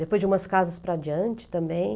Depois de umas casas para adiante também.